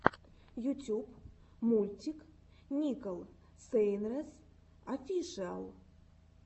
ютюб мультик никол сейнрэс офишиал